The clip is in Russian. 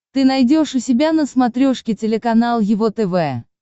ты найдешь у себя на смотрешке телеканал его тв